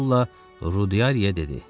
Sula Rudiyaya dedi: